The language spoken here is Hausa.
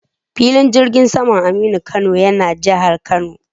Filin jirgin saman Aminu Kano yana jihar Kano.